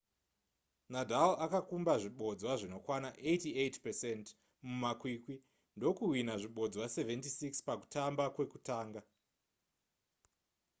nadal akakumba zvibodzwa zvinokwana 88% mumakwikwi ndokuhwinha zvibodzwa 76 pakutamba kwekutanga